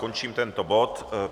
Končím tento bod.